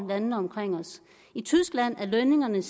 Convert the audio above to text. i landene omkring os i tyskland er lønningerne